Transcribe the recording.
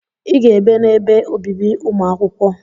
I ga-ebe n'ebe obibi ụmụ akwụkwọ!